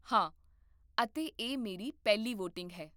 ਹਾਂ, ਅਤੇ ਇਹ ਮੇਰੀ ਪਹਿਲੀ ਵੋਟਿੰਗ ਹੈ